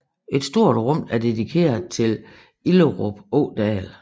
Et stort rum er dedikeret til Illerup Ådal